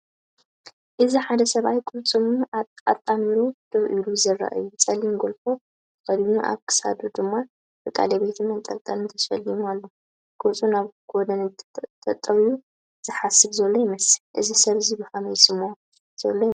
እዚ ሓደ ሰብኣይ ቅልጽሙ ኣጣሚሩ ደው ኢሉ ዘርኢ እዩ። ጸሊም ጎልፎ ተኸዲኑ፡ ኣብ ክሳዱድማ ብቀለቤትን መንጠልጠልን ተሰሊሙ ኣሎ። ገጹ ናብ ጐድኒ ተጠውዩ፡ ዝሓስብ ዘሎ ይመስል። እዚ ሰብ እዚ ከመይ ይስምዖ ዘሎ ይመስለካ?